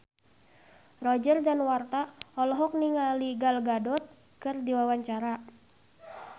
Roger Danuarta olohok ningali Gal Gadot keur diwawancara